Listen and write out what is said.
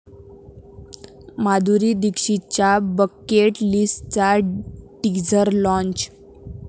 माधुरी दीक्षितच्या 'बकेट लिस्ट'चा teaser launch